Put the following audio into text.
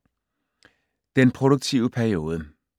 Den produktive periode